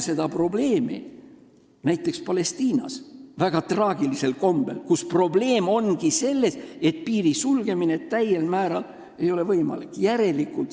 See probleem avaldub väga traagilisel kombel Palestiinas, kus probleem ongi selles, et piiri sulgemine täiel määral ei ole võimalik.